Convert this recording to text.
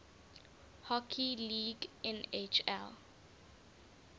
hockey league nhl